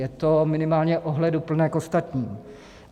Je to minimálně ohleduplné k ostatním.